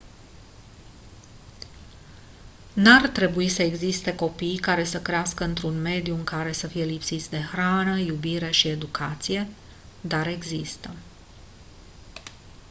n-ar trebui să existe copii care să crească într-un mediu în care să fie lipsiți de hrană iubire și educație dar există